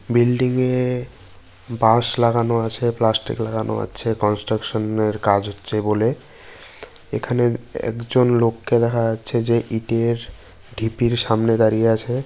Building -এ বাঁশ লাগানো আছে প্লাস্টিক লাগানো আছে কনস্ট্রাকশন এর কাজ হচ্ছে বলে। এখানে একজন লোককে দেখা যাচ্ছে যে ইটের ঢিপির সামনে দাঁড়িয়ে আছে।